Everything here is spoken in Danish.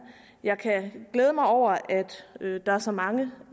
jeg kan glæde mig over at der er så mange